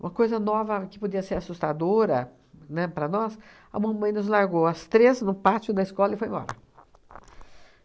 Uma coisa nova que podia ser assustadora, né, para nós, a mamãe nos largou, as três, no pátio da escola, e foi embora.